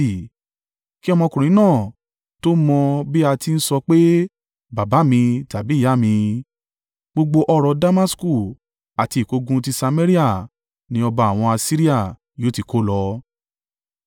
Kí ọmọkùnrin náà tó mọ bí a ti ń sọ pé, ‘Baba mi’ tàbí ‘Ìyá mi,’ gbogbo ọrọ̀ Damasku àti ìkógun ti Samaria ni ọba àwọn Asiria yóò ti kó lọ.”